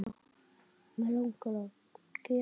Mig langar að gefa.